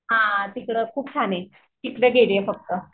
हां तिकडे खूप छान आहे तिकडे.